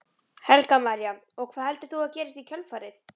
Helga María: Og hvað heldur þú að gerist í kjölfarið?